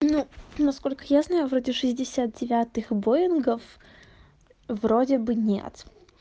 ну насколько я знаю вроде шестьдесят девятых боингов вроде бы нет